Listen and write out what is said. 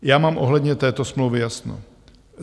Já mám ohledně této smlouvy jasno.